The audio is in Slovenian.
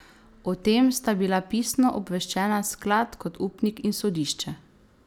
O tem sta bila pisno obveščena sklad kot upnik in sodišče.